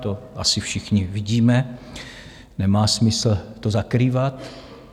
To asi všichni vidíme, nemá smysl to zakrývat.